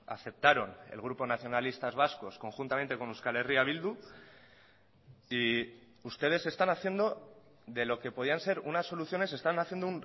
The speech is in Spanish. aceptaron el grupo nacionalistas vascos conjuntamente con euskal herria bildu y ustedes están haciendo de lo que podían ser unas soluciones están haciendo